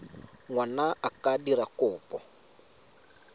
ngwana a ka dira kopo